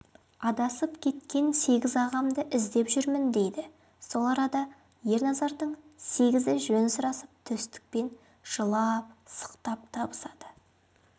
адасып кеткен сегіз ағамды іздеп жүрмін дейді сол арада ерназардың сегізі жөн сұрасып төстікпен жылап-сықтап табысады